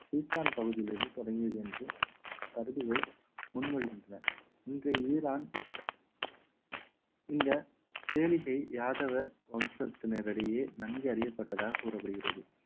சீத்தான் பகுதியிலிருந்து தொடங்கியது என்று கருதுகோல் முன்மொழிகின்றன இன்றைய ஈரான் இந்த கேளிகை யாதவ வம்சத்தினரிடையே நன்கு அறியப்பட்டதாக கூறப்படுகிறது